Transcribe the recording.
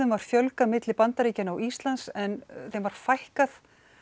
var fjölgað milli Bandaríkjanna og Íslands en fækkað